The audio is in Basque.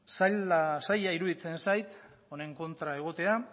zaila iruditzen zait honen kontra egotea